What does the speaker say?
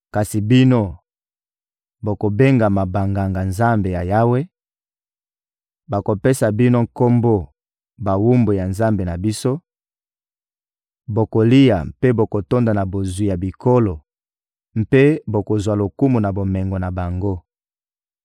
Kasi bino, bokobengama Banganga-Nzambe ya Yawe, bakopesa bino kombo bawumbu ya Nzambe na biso; bokolia mpe bokotonda na bozwi ya bikolo mpe bokozwa lokumu na bomengo na bango.